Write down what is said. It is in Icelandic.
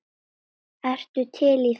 Ertu til í það?